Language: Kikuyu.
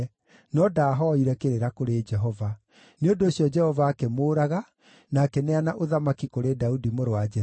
no ndahooire kĩrĩra kũrĩ Jehova. Nĩ ũndũ ũcio Jehova akĩmũũraga, na akĩneana ũthamaki kũrĩ Daudi mũrũ wa Jesii.